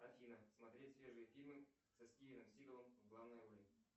афина смотреть свежие фильмы со стивеном сигалом в главной роли